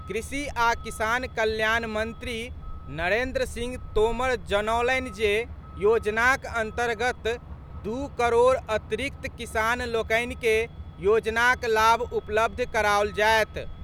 कृषि आ किसान कल्याण मंत्री नरेन्द्र सिंह तोमर जनौलनि जे योजनाक अन्तर्गत दू करोड़ अतिरिक्त किसान लोकनि के योजनाक लाभ उपलब्ध कराओल जायत।